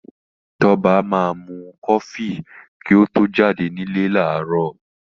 Tọ́ba máa mu kọfí kí ó tó jáde nílé láàárọ̀.